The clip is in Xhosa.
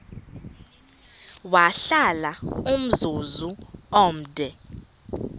wahlala umzum omde